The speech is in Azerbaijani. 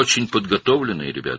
Çox hazırlıqlıdılar, uşaqlar.